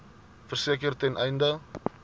verseker ten einde